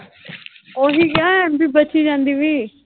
ਉਹੀ ਆ MB ਬਚੀ ਜਾਂਦੀ ਪਈ।